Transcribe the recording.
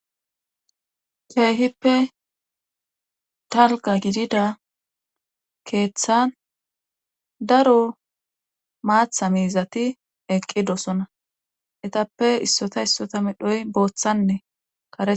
Keehippe dalga gidida keeththan daro maatha miizati eqqi doosona etappe issota issota medhoy booththane karetha.